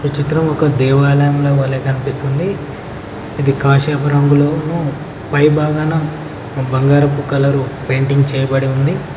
ఈ చిత్రం ఒక దేవాలయంలో వలే కనిపిస్తుంది ఇది కాషాయపు రంగులోనూ పై భాగాన ఒక బంగారపు కలరు పెయింటింగ్ చేయబడి ఉంది.